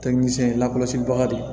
lakɔlɔsibaga de ye